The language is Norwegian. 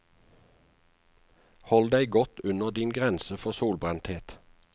Hold deg godt under din grense for solbrenthet.